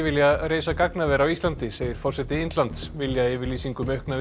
vilja reisa gagnaver á Íslandi segir forseti Indlands viljayfirlýsing um aukna